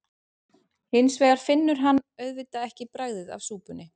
Hins vegar finnur hann auðvitað ekki bragðið af súpunni.